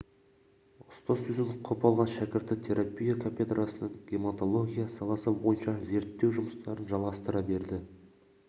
ұстаз сөзін құп алған шәкірті терапия кафедрасының гемотология саласы бойынша зерттеу жұмыстарын жалғастыра берді